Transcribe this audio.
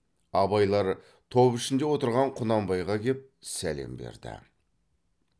абайлар топ ішінде отырған құнанбайға кеп сәлем берді